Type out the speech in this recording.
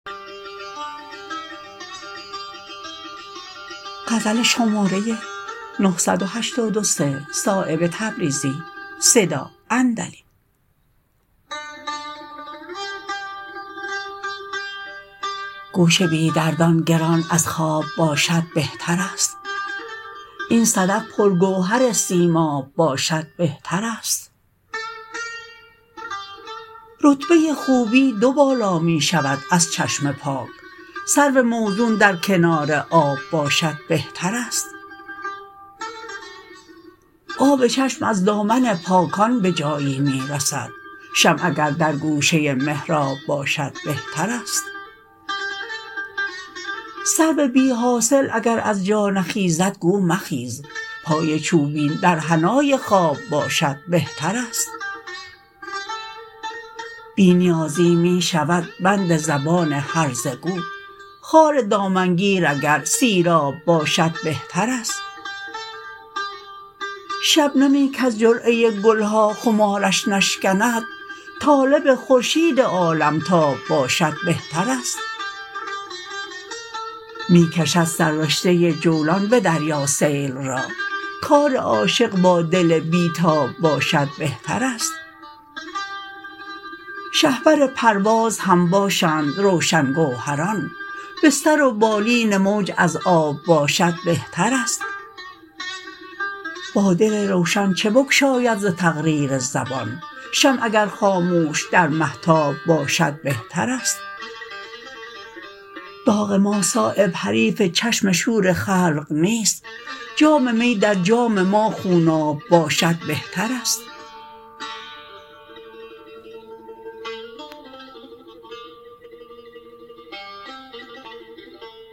گوش بی دردان گران از خواب باشد بهتر است این صدف پر گوهر سیماب باشد بهترست رتبه خوبی دو بالا می شود از چشم پاک سرو موزون در کنار آب باشد بهترست آب چشم از دامن پاکان به جایی می رسد شمع اگر در گوشه محراب باشد بهترست سرو بی حاصل اگر از جا نخیزد گو مخیز پای چوبین در حنای خواب باشد بهترست بی نیازی می شود بند زبان هرزه گو خار دامنگیر اگر سیراب باشد بهترست شبنمی کز جرعه گلها خمارش نشکند طالب خورشید عالمتاب باشد بهترست می کشد سر رشته جولان به دریا سیل را کار عاشق با دل بی تاب باشد بهترست شهپر پرواز هم باشند روشن گوهران بستر و بالین موج از آب باشد بهترست با دل روشن چه بگشاید ز تقریر زبان شمع اگر خاموش در مهتاب باشد بهترست داغ ما صایب حریف چشم شور خلق نیست جامی می در جام ما خوناب باشد بهترست